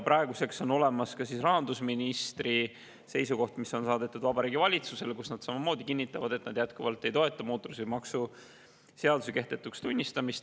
Praeguseks on olemas ka rahandusministri seisukoht, mis on saadetud Vabariigi Valitsusele, kus nad samamoodi kinnitavad, et nad jätkuvalt ei toeta mootorsõidukimaksu seaduse kehtetuks tunnistamist.